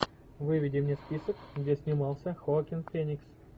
выведи мне список где снимался хоакин феникс